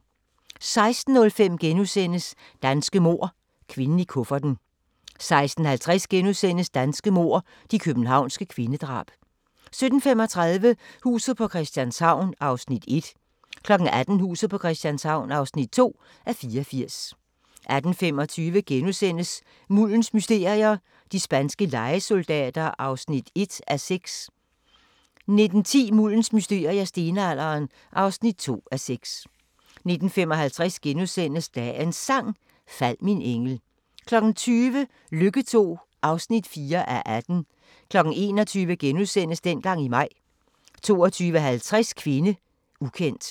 16:05: Danske mord – kvinden i kufferten * 16:50: Danske mord – de københavnske kvindedrab * 17:35: Huset på Christianshavn (1:84) 18:00: Huset på Christianshavn (2:84) 18:25: Muldens mysterier - de spanske lejesoldater (1:6)* 19:10: Muldens mysterier - Stenalderen (2:6) 19:55: Dagens Sang: Fald min engel * 20:00: Lykke II (4:18) 21:00: Dengang i maj * 22:50: Kvinde, ukendt